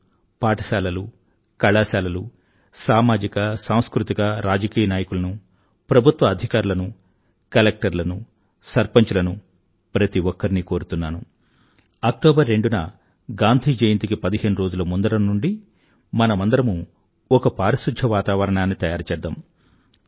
ఓ లను పాఠశాలలు కళాశాలలు సామాజిక సాంస్కృతిక రాజకీయ నాయకులను ప్రభుత్వ అధికారులనూ కలెక్టర్లను సర్పంచ్ లనూ ప్రతి ఒక్కరినీ కోరుతున్నాను అక్టోబర్ రెండున గాంధీ జయంతికి పదిహేనురోజుల ముందర నుండి మనమందరమూ ఒక పారిశుధ్య వాతావరణాన్ని తయారుచేద్దాం